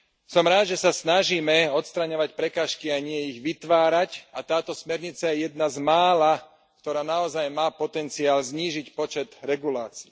Som rád, že sa snažíme odstraňovať prekážky a nie ich vytvárať, a táto smernica je jedna z mála, ktorá naozaj má potenciál znížiť počet regulácií.